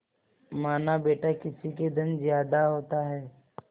मानाबेटा किसी के धन ज्यादा होता है